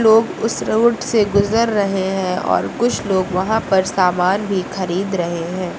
लोग उस रोड से गुजर रहे हैं और कुछ लोग वहां पर सामान भी खरीद रहे हैं।